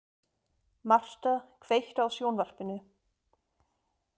Martha, kveiktu á sjónvarpinu.